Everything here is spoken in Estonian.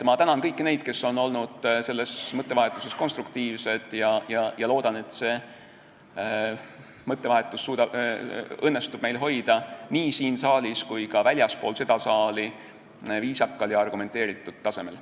Ma tänan kõiki neid, kes on olnud selles mõttevahetuses konstruktiivsed, ja loodan, et meil õnnestub hoida seda mõttevahetust nii siin saalis kui ka väljaspool seda saali viisakal ja argumenteeritud tasemel.